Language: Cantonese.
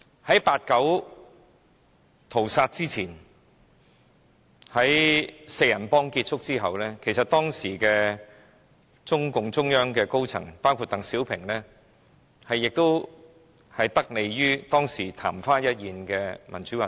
在八九屠殺前，"四人幫"結束後，當時中共中央的高層，包括鄧小平，其實曾得利於當時曇花一現的民主運動。